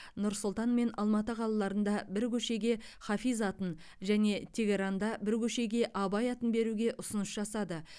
нұр сұлтан мен алматы қалаларында бір көшеге хафиз атын және теһранда бір көшеге абай атын беруге ұсыныс жасады